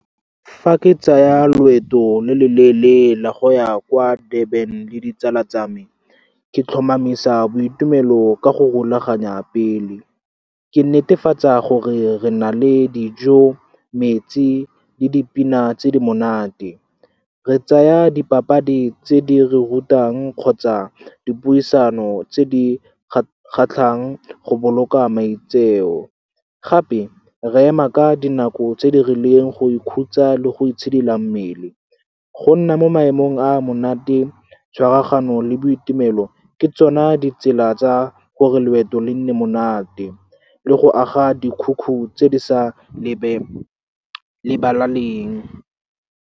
Fa ke tsaya loeto lo lo leele la go ya kwa Durban le ditsala tsa me, ke tlhomamisa boitumelo ka go rulaganya pele. Ke netefatsa gore re na le dijo, metsi, le dipina tse di monate. Re tsaya dipapadi tse di re rutang kgotsa dipuisano tse di kgatlhang go boloka maitseo. Gape re ema ka dinako tse di rileng go ikhutsa le go itshidila mmele go nna mo maemong a monate, tshwaragano le boitumelo ke tsona ditsela tsa gore loeto le nne monate le go aga dikhukhu tse di sa lebalaneng.